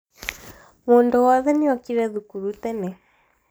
mũndũ wothe nĩokire thukuru tene